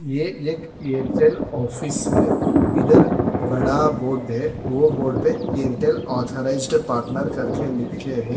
ये एक एयरटेल ऑफिस है इधर बड़ा बोर्ड है वो बोर्ड पे एयरटेल ऑथराइज्ड पार्टनर करके लिख के है।